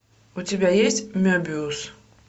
у тебя есть мебиус